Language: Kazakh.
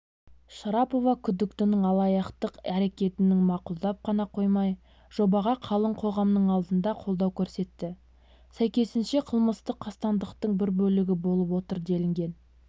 шарапова күдіктінің алаяқтық әрекетін мақұлдап қана қоймай жобаға қалың қоғамның алдында қолдау көрсетті сәйкесінше қылмыстық қастандықтың бір бөлігі болып отыр делінген